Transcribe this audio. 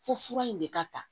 Fo fura in de ka ta